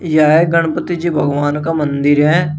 यह गणपति जी भगवान का मंदिर है।